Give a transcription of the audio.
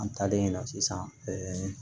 An taalen yen nɔ sisan